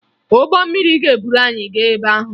Ụgbọ mmiri ga-eburu anyị gaa ebe ahụ